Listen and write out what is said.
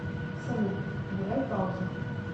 салют убирай паузу